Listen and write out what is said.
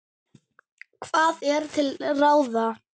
Hvað er til ráða